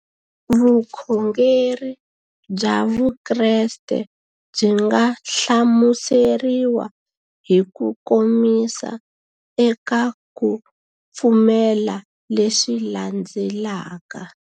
Vukhongeri bya Vukreste byi nga hlamuseriwa hi kukomisa eka ku pfumela leswi landzelaka.